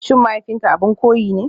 SHIN mahaifinka abin koyi ne?